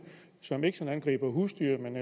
som ikke sådan angriber husdyr men